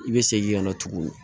I bɛ segin ka na tugun